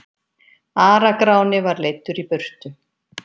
Ara-Gráni var leiddur í burtu.